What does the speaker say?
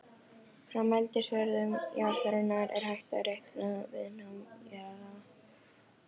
Frá mældri svörun jarðarinnar er hægt að reikna viðnám jarðlaga.